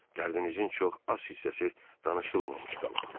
Dərdinizin çox az hissəsi danışılmamış qalıb.